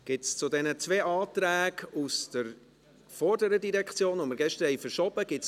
Gibt es Wortmeldungen zu diesen beiden Anträgen aus der vorherigen Direktion, die wir gestern verschoben haben?